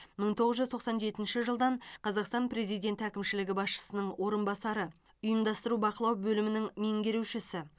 мың тоғыз жүз тоқсан жетінші жылдан қазақстан президенті әкімшілігі басшысының орынбасары ұйымдастыру бақылау бөлімінің меңгерушісі